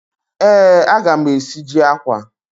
Ee, aga m esiji akwa.